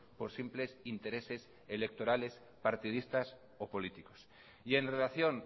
por simples intereses electorales partidistas o políticos y en relación